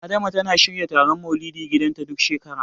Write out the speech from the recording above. Adama tana shirya taron Maulidi a gidanta, duk shekara.